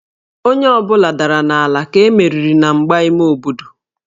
Onye ọ bụla dara n'ala ka e meriri na mgba ime obodo